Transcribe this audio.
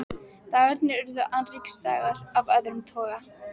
Dagarnir urðu annríkisdagar af öðrum toga.